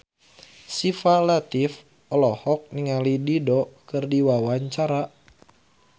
Syifa Latief olohok ningali Dido keur diwawancara